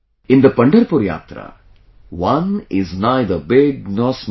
In the Pandharpur Yatra, one is neither big nor small